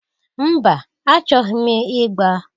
Mba! Achọghị m ị gba.